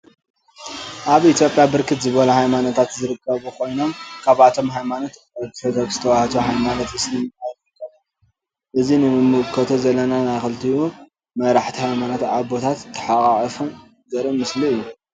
አብ ኢትዮጵያ ብርክት ዝበሉ ሃይማኖታት ዝርከቡ ኮይኖም ካብአቶም ሃይማኖት አርቶዶክስ ተዋህዶ ሃይማኖት እስልምና ዝርከቡ ኮይኖም እዚ ንምልከቶ ዘለና ናይ ክልቲኡ መራሕቲ ሃይማኖት አቦታት ተሓቋቁፎም ዘርኢ ምስሊ እዩ ።